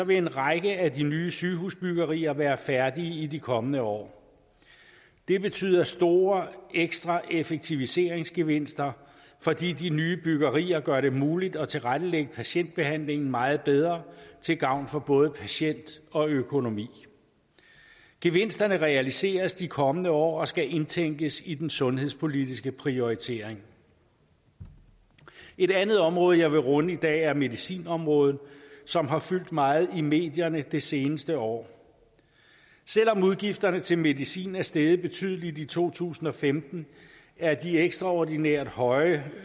vil en række af de nye sygehusbyggerier være færdige i de kommende år det betyder store ekstra effektiviseringsgevinster fordi de nye byggerier gør det muligt at tilrettelægge patientbehandlingen meget bedre til gavn for både patient og økonomi gevinsterne realiseres i de kommende år og skal indtænkes i den sundhedspolitiske prioritering et andet område jeg vil runde i dag er medicinområdet som har fyldt meget i medierne det seneste år selv om udgifterne til medicin er steget betydeligt i to tusind og femten er de ekstraordinært høje